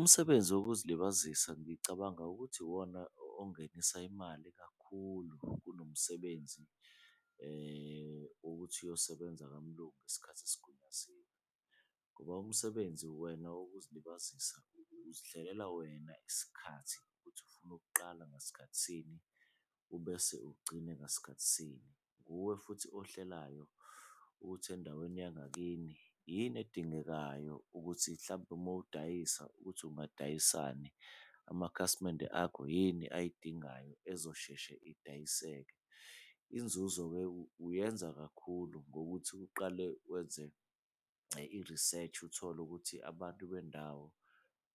Umsebenzi wokuzilibazisa ngicabanga ukuthi iwona ongenisa imali kakhulu kunomsebenzi wokuthi uyosebenza kamlungu ngesikhathi esigunyaziwe. Ngoba umsebenzi wena wokuzilibazisa uzihlelela wena isikhathi ukuthi ufuna ukuqala ngasikhathi sini ubese ugcine ngasikhathi sini. Wuwe futhi ohlelayo ukuthi endaweni yangakini yini edingekayo ukuthi mhlampe uma udayisa ukuthi ungadayisani, amakhasimende akho yini ayidingayo ezosheshe idayiseke. Inzuzo-ke uyenza kakhulu ngokuthi uqale wenze i-research uthole ukuthi abantu bendawo